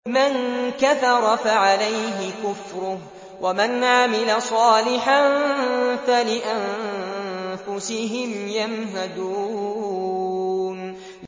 مَن كَفَرَ فَعَلَيْهِ كُفْرُهُ ۖ وَمَنْ عَمِلَ صَالِحًا فَلِأَنفُسِهِمْ يَمْهَدُونَ